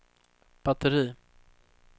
batteri